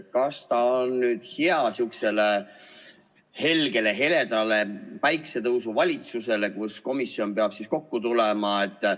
Kas see on hea sihukesele helgele‑heledale päikesetõusuvalitsusele, kui komisjon peab kokku tulema?